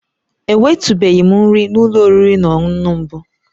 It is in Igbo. Enwetụbeghị m nri n'ụlọ oriri na ọṅụṅụ mbụ